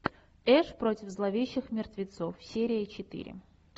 эш против зловещих мертвецов серия четыре